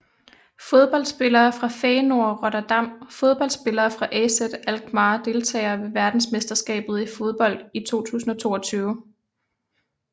Fodboldspillere fra Feyenoord Rotterdam Fodboldspillere fra AZ Alkmaar Deltagere ved verdensmesterskabet i fodbold 2022